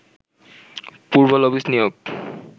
পূর্বে লবিস্ট নিয়োগ